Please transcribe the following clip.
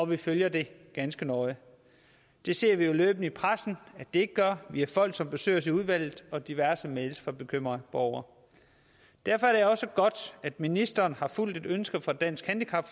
vi følger det ganske nøje det ser vi jo løbende i pressen at det ikke gør vi har folk som besøger os i udvalget og diverse mails fra bekymrede borgere derfor er det også godt at ministeren har fulgt et ønske fra dansk handicap